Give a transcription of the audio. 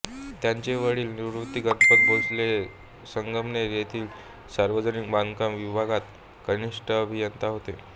त्यांचे वडील निवृत्ती गणपत भोसले हे संगमनेर येतील सावर्जनिक बांधकाम विभागात कनिष्ठ अभियंता होते